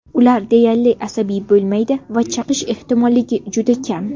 Ular deyarli asabiy bo‘lmaydi va chaqish ehtimolligi juda kam.